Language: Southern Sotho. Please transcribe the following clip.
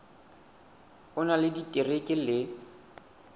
o na le diterekere le